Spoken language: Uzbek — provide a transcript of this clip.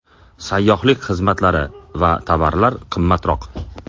Sayyohlik xizmatlari va tovarlar qimmatroq.